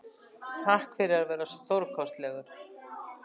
Takk fyrir að vera stórkostlegur.